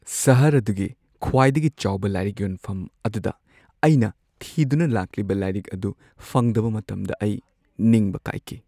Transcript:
ꯁꯍꯔ ꯑꯗꯨꯒꯤ ꯈ꯭ꯋꯥꯏꯗꯒꯤ ꯆꯥꯎꯕ ꯂꯥꯏꯔꯤꯛ ꯌꯣꯟꯐꯝ ꯑꯗꯨꯗ ꯑꯩꯅ ꯊꯤꯗꯨꯅ ꯂꯥꯛꯂꯤꯕ ꯂꯥꯏꯔꯤꯛ ꯑꯗꯨ ꯐꯪꯗꯕ ꯃꯇꯝꯗ ꯑꯩ ꯅꯤꯡꯕ ꯀꯥꯏꯈꯤ꯫